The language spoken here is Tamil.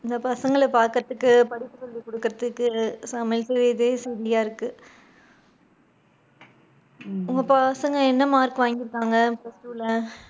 இத பசங்கள பாக்குறதுக்கு, படிப்பு சொல்லி குடுக்குறதுக்கு, சமையல் செய்யவே சரியா இருக்குது. உங்க பசங்க என்ன mark வாங்கி இருக்காங்க plus two ல?